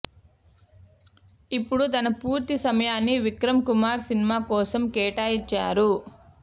ఇప్పుడు తన పూర్తి సమయాన్ని విక్రమ్ కుమార్ సినిమా కోసం కేటాయించారు